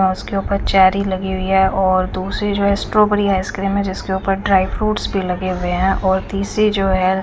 बांस के ऊपर चेरी लगी हुई है और दूसरी जो है स्ट्रोबेरी है स्क्रीन में जिसके ऊपर ड्राई फ्रूट्स भी लगे हुए हैं और तीसरी जो है।